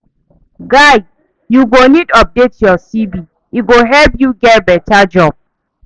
Guy, you go need update your CV, e go help you get beta job.